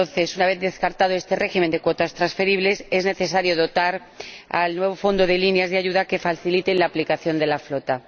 Una vez descartado este régimen de cuotas transferibles, es necesario dotar al nuevo Fondo de líneas de ayuda que faciliten su aplicación a la flota.